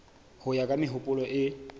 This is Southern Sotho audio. ho ya ka mehopolo e